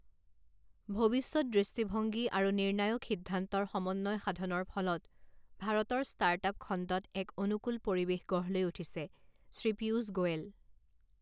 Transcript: ভৱিষ্যৎ দৃষ্টিভংগী আৰু নিৰ্ণায়ক সিদ্ধান্তৰ সমন্বয় সাধনৰ ফলত ভাৰতৰ ষ্টাৰ্ট আপ খণ্ডত এক অনুকূল পৰিৱেশ গঢ় লৈ উঠিছেঃ শ্ৰী পীযূষ গোৱেল